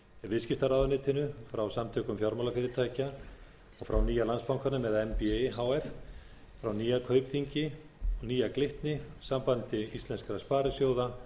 viðskiptaráðuneytinu frá samtökum fjármálafyrirtækja og frá nýja landsbankanum eða nbi h f frá nýja kaupþingi nýja glitni sambandi íslenskra sparisjóða